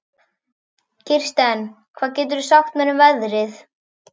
Kirsten, hvað geturðu sagt mér um veðrið?